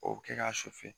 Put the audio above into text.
O bɛ kɛ k'a susu